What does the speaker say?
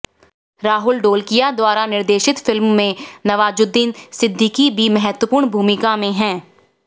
राहुल ढोलकिया द्वारा निर्देशित फिल्म में नवाजुद्दीन सिद्दीकी भी महत्वपूर्ण भूमिका में हैं